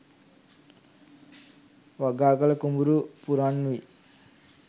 වගාකළ කුඹුරු පුරන් වී